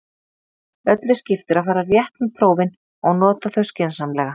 Öllu skiptir að fara rétt með prófin og nota þau skynsamlega.